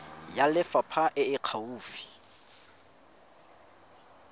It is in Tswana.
ya lefapha e e gaufi